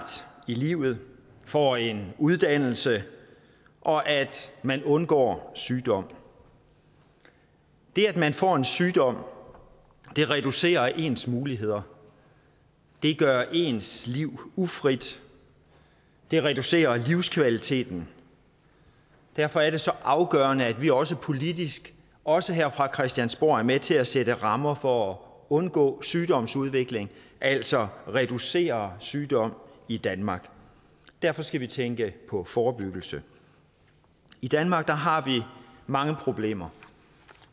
i livet får en uddannelse og at man undgår sygdom det at man får en sygdom reducerer ens muligheder det gør ens liv ufrit det reducerer livskvaliteten og derfor er det så afgørende at vi også politisk også her fra christiansborg er med til at sætte rammer for at undgå sygdomsudvikling altså reducere sygdom i danmark derfor skal vi tænke på forebyggelse i danmark har vi mange problemer